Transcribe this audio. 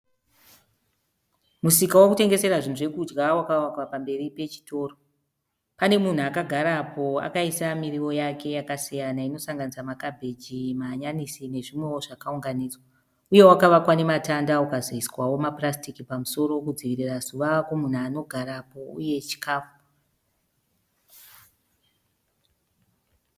Musika wekutengesera zvinhu zvekudya wakavakwa pamberi pechitoro. Panemunhu akagarapo akaisa miriwo yake yakasiyana inosanganisira makabheji mahanyanisi nezvimwewo zvakaunganidzwa uye wakavakwa namatanda ukazoiswa maplastic pamusoro kuitira zuva kumunhu anogarapo uye chikafu